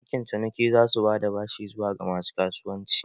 Bankin ciniki za su ba da bashi zuwa ga masu kasuwanci